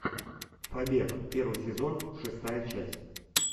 побег первый сезон шестая часть